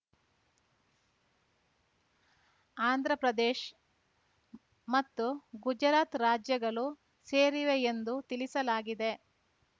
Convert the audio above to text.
ಆಂಧ್ರ ಪ್ರದೇಶ್ ಮತ್ತು ಗುಜರಾತ್ ರಾಜ್ಯಗಳು ಸೇರಿವೆ ಎಂದು ತಿಳಿಸಲಾಗಿದೆ